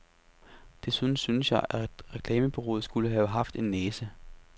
Desuden synes jeg, at reklamebureauet skulle have haft en næse.